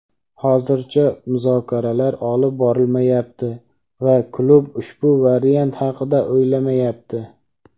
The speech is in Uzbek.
hozircha muzokaralar olib borilmayapti va klub ushbu variant haqida o‘ylamayapti.